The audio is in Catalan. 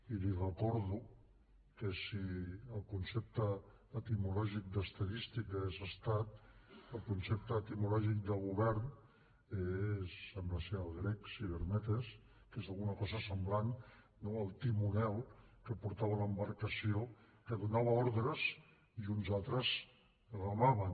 i li recordo que si el concepte etimològic d’ estadística és estat el concepte etimològic de govern és sembla el grec cibernetes que és alguna cosa semblant no el timoner que portava l’embarcació que donava ordres i uns altres remaven